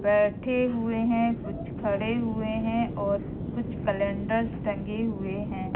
बैठे हुए हैं कुछ खड़े हुए हैं और कुछ कैलेंडर टंगे हुए हैं।